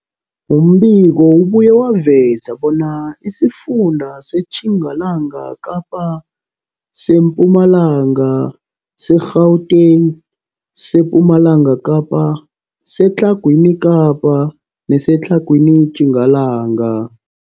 Umbiko ubuye waveza bona isifunda seTjingalanga Kapa, seMpumalanga, seGauteng, sePumalanga Kapa, seTlhagwini Kapa neseTlhagwini Tjingalanga.